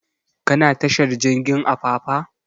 Ka na tashar jirgin apapa?